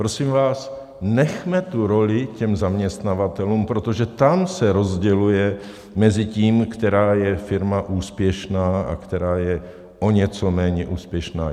Prosím vás, nechme tu roli těm zaměstnavatelům, protože tam se rozděluje mezi tím, která firma je úspěšná a která je o něco méně úspěšná.